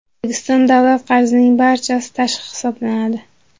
O‘zbekiston davlat qarzining barchasi tashqi hisoblanadi.